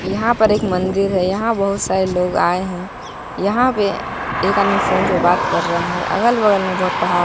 यहां पर एक मंदिर है यहां बहुत सारे लोग आए हैं यहां पे एक आदमी फोन पे बात कर रहा है अगल बगल में बहुत पहाड़--